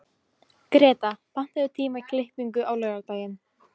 Greta, pantaðu tíma í klippingu á laugardaginn.